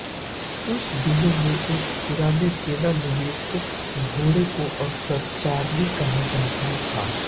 उन दिनों में एक पुराने सेवानिवृत्त घोड़े को अक्सर चार्ली कहा जाता था